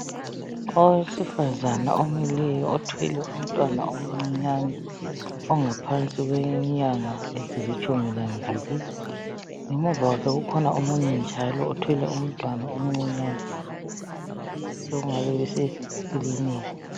Owesifazana omileyo othwele umntwana omncinyane ongaphansi kwenyanga ezilitshumi lambili ngemuva kwakhe kukhona omunye njalo othwele umntwana omncinyane sokungabe besekiliniki.